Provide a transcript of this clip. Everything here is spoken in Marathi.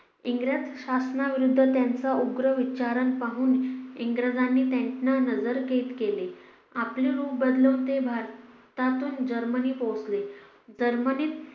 इंग्रज शासनाविरुद्ध त्यांच्या उग्र विचाराना पाहून इंग्रजांनी त्याना नजर कैद केले आपलं रूप बदलून ते भारतातून जर्मनी पोचले जर्मनीत